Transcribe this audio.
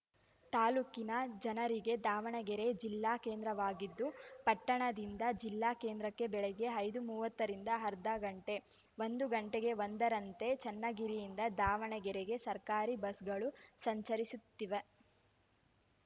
ತಾಲೂಕಿನ ಜನರಿಗೆ ದಾವಣಗೆರೆ ಜಿಲ್ಲಾ ಕೇಂದ್ರವಾಗಿದ್ದು ಪಟ್ಟಣದಿಂದ ಜಿಲ್ಲಾ ಕೇಂದ್ರಕ್ಕೆ ಬೆಳಗ್ಗೆ ಐದು ಮೂವತ್ತರಿಂದ ಅರ್ಧಗಂಟೆ ಒಂದು ಗಂಟೆಗೆ ಒಂದರಂತೆ ಚನ್ನಗಿರಿಯಿಂದ ದಾವಣಗೆರೆಗೆ ಸರ್ಕಾರಿ ಬಸ್‌ಗಳು ಸಂಚರಿಸುತ್ತವೆ